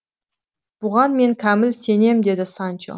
бұған мен кәміл сенем деді санчо